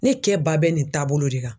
Ne kɛ ba bɛ nin taabolo de kan